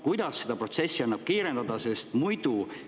Kuidas seda protsessi annaks kiirendada?